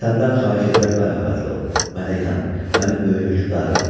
Səndən xahiş edirəm, mərhəmətli ol, mənə inan, mənim böyük hökmdarım.